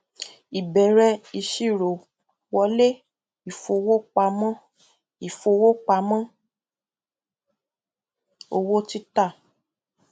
ìbẹrẹ ìṣirò wọlé ìfowópamọ ìfowópamọ owó títà